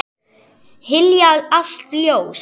Hylja allt ljós.